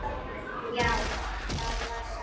Já, það var satt.